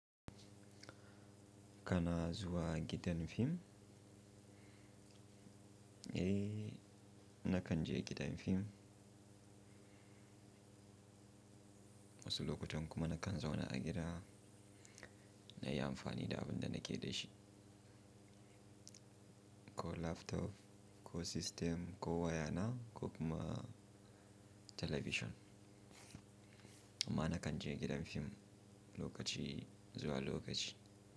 Kana zuwa gidan fim? Eh, nakan je gidan fim. Wasu lokutan kuma na kan zauna a gida nayi amfani da abinda nake da shi, ko laptop, ko system, ko waya na ko kuma television. Amma na kan je gidan fim lokaci zuwa lokaci.